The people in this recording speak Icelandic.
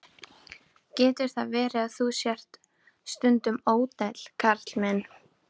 Getur það verið, að þú sért stundum ódæll, Karl minn?